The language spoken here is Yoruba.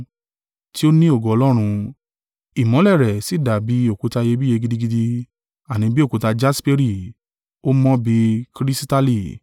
tí ó ní ògo Ọlọ́run, ìmọ́lẹ̀ rẹ̀ sì dàbí òkúta iyebíye gidigidi, àní bí òkúta jasperi, ó mọ́ bí kirisitali;